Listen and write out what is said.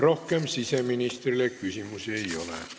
Rohkem siseministrile küsimusi ei ole.